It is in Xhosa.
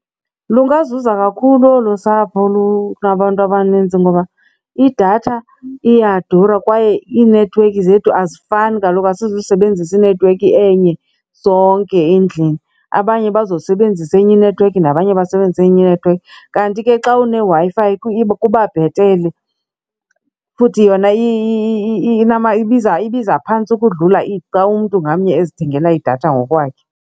Lungazuza kakhulu olu sapho lunabantu abanintsi ngoba idatha iyadura kwaye iinethiwekhi zethu azifani kaloku asizusebenzisa inethiwekhi enye sonke endlini, abanye bazosebenzisa enye inethiwekhi nabanye basebenzise enye inethiwekhi. Kanti ke xa uneWi-Fi kuba bhetele futhi yona ibiza phantsi ukudlula xa umntu ngamnye ezithengela idatha ngokwakhe.